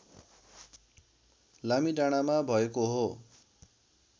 लामीडाँडामा भएको हो